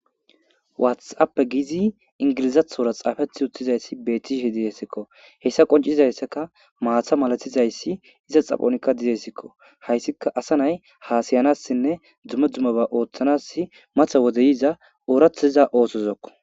waathappe gizi ingilizathora xaafethi uttizayssi bettishe dihesikko hessa qoncizayssaka maatha malatizayssi iza xaphonikka dizessikko hayssika asa nay hasayanassinne dzumme dzummaba ooththanas matha wodeyiza ooratiza oosozokko